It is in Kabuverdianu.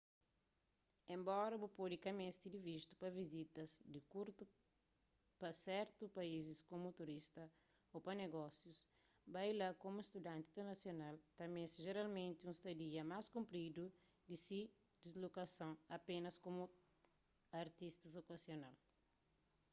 enbora bu pode ka meste di vistu pa vizitas di kurtu pa sertus país komu turista ô pa negósius bai la komu studanti internasional ta meste jeralmenti un stadia más kunrpidu di ki dislokason apénas komu turista okazional